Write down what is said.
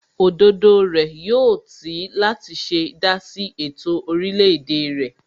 Òdodo rẹ̀ yóò tì í láti ṣe dásí ètò orílẹ̀ èdè rẹ̀